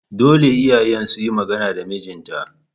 Dole iyayen suyi magana da mijin ta